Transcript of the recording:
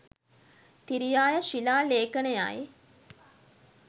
තිරියාය ශිලා ලේඛනයයි.